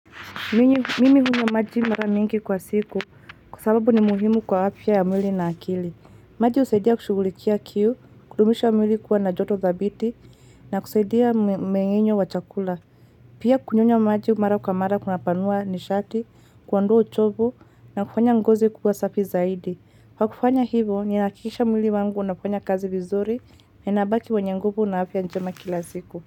Mimi hunywa maji mara mingi kwa siku kwa sababu ni muhimu kwa afya ya mwili na akili. Maji husaidia kushugulikia kiu, kudumisha mwili kuwa na joto thabiti na kusaidia mumeng'enyo wa chakula. Pia kunyonya maji mara kwa mara kunapanua nishati, kuondoa uchovu na kufanya ngozi kuwa safi zaidi. Kwa kufanya hivo, ninahakikisha mwili wangu unafanya kazi vizuri na inabaki wanye nguvu na afya njema kila siku.